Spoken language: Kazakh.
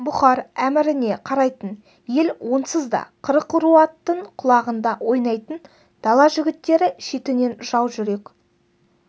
бұхар әміріне қарайтын ел онсыз да қырық ру аттың құлағында ойнайтын дала жігіттері шетінен жау жүрек